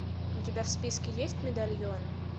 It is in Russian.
у тебя в списке есть медальон